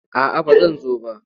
A'a ba zan zo ba.